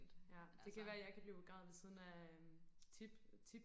ja det kan være jeg kan blive begravet ved siden af øhm tip tip